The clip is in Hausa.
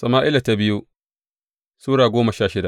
biyu Sama’ila Sura goma sha shida